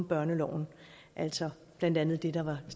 børneloven altså blandt andet det der var